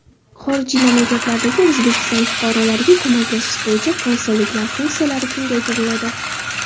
Xorijiy mamlakatlardagi O‘zbekiston fuqarolariga ko‘maklashish bo‘yicha konsulliklar funksiyalari kengaytiriladi.